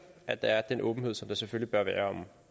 at der er den åbenhed som der selvfølgelig bør være om